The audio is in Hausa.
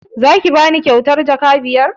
Za ki bani kyautar jaka biyar?